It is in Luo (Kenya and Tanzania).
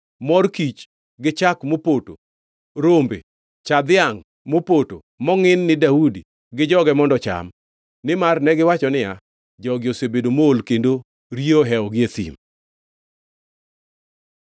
mor kich gi chak mopoto, rombe, cha dhiangʼ mopoto mongʼin ni Daudi gi joge mondo ocham. Nimar negiwacho niya, “Jogi osebedo mool kendo riyo ohewogi e thim.”